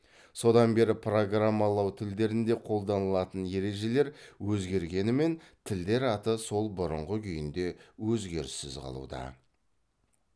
содан бері программалау тілдерінде қолданылатын ережелер өзгергенімен тілдер аты сол бұрынғы күйінде өзгеріссіз қалуда